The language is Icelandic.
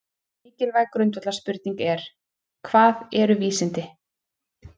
Mikilvæg grundvallarspurning er: Hvað eru vísindi?